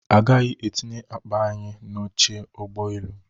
A gaghị etinye akpa anyị n'oche ụgbọ elu